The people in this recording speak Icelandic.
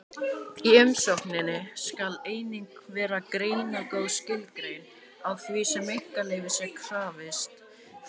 Í umsókninni skal einnig vera greinagóð skilgreining á því sem einkaleyfis er krafist fyrir.